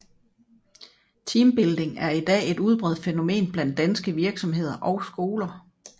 Teambuilding er I dag et udbredt fænomen blandt danske virksomheder og skoler